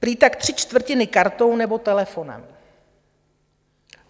Prý tak tři čtvrtiny kartou nebo telefonem.